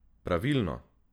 Pravilno!